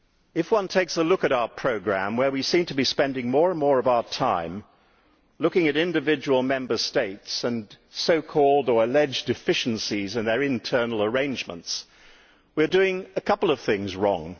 If one takes a look at our programme, where we seem to be spending more and more of our time looking at individual Member States and so called or alleged deficiencies in their internal arrangements, we are doing a couple of things wrong.